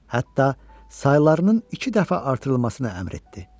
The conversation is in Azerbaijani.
hətta saylarının iki dəfə artırılmasına əmr etdi.